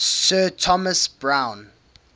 sir thomas browne